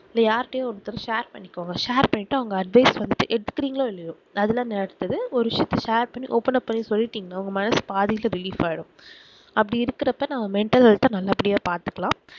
அப்டி யார் கிட்டையோ ஒருத்தர் share பண்ணிக்கோங்க share பண்ணிட்டா அவங்க advice அஹ் எடுத்துகிரிங்கலோ இல்லையோ அதுல அடுத்தது ஒரு share share பண்ணி openup பண்ணி சொல்லிடீங்கனா உங்க மனசு பாதி இது relief ஆகிடும் அப்படி இருக்குறப்ப நம்ம mental health நல்ல படியா பாத்துக்கலாம்